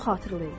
xatırlayın.